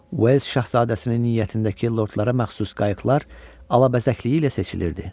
Uels şahzadəsinin niyyətindəki lordlara məxsus qayıqlar alabəzəkliyi ilə seçilirdi.